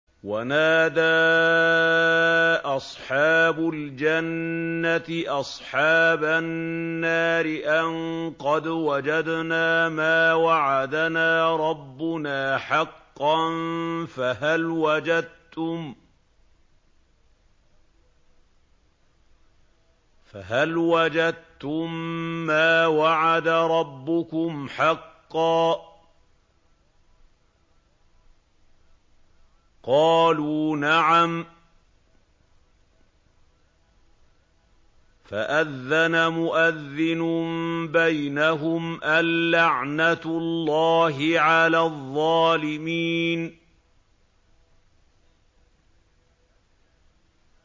وَنَادَىٰ أَصْحَابُ الْجَنَّةِ أَصْحَابَ النَّارِ أَن قَدْ وَجَدْنَا مَا وَعَدَنَا رَبُّنَا حَقًّا فَهَلْ وَجَدتُّم مَّا وَعَدَ رَبُّكُمْ حَقًّا ۖ قَالُوا نَعَمْ ۚ فَأَذَّنَ مُؤَذِّنٌ بَيْنَهُمْ أَن لَّعْنَةُ اللَّهِ عَلَى الظَّالِمِينَ